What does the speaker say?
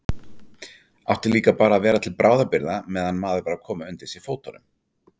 Átti líka bara að vera til bráðabirgða meðan maður var að koma undir sig fótunum.